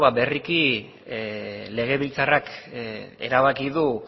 ba berriki legebiltzarrak erabaki du